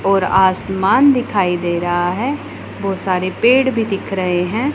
और आसमान दिखाई दे रहा है बहोत सारे पेड़ भी दिख रहे हैं।